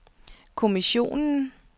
kommissionen